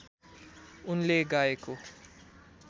उनले गाएको